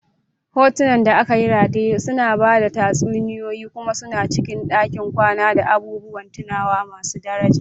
Hotunan da aka rataye suna ba da tatsuniyoyi kuma sun cika ɗakin kwana da abubuwan tunawa masu daraja.